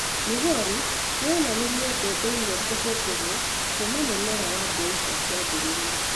Migori ni͂ yonanirie mbebe imwe ku͂hu͂thi͂rwo kuuma mu͂mera wa mbeu͂ cia ki͂ambi͂ri͂a.